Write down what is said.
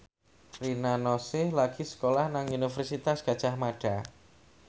Rina Nose lagi sekolah nang Universitas Gadjah Mada